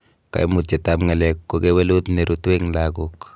Koimutietab ng'alek ko kewelut nerutu en logok.